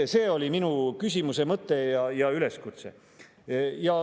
See oli minu küsimuse mõte ja üleskutse.